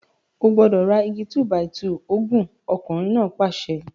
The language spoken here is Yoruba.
O gbúdọ̀ ra igi 2-by-2 ogún! ọkùnrin náà pàṣẹ.